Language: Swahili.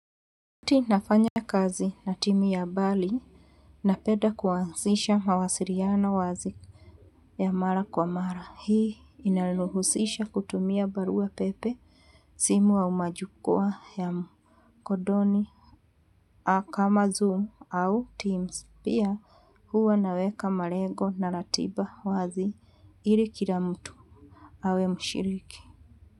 Wakati nafanya kazi na timu ya mbali napenda kuanzisha mawasiliano wazi ya mara kwa mara. Hii inaruhusisha kutumia barua pepe simu au majukwaa ya mkondoni. Au kama Zoom au Teams pia huwa naweka malengo na ratiba wazi ili kila mtu awe mshiriki.